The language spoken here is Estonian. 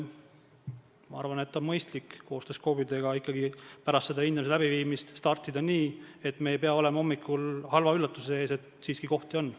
Ma arvan, et on mõistlik koostöös KOV-idega ikkagi pärast seda hindamist startida nii, et me ei pea olema hommikul halva üllatuse ees, et selliseid kohti siiski on.